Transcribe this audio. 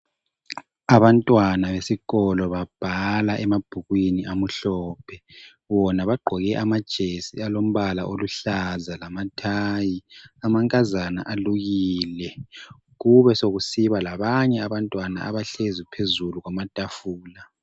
Abantwana besikolo babhala emabhukwini amhlophe. Bona bagqoke amajesi alombala olUhlaza lamathayi. Amankazana alukile. Kube sekusiba labanye abantwana abahlezi phezulu kwamatafula.